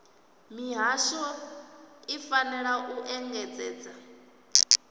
mihasho i fanela u engedzedza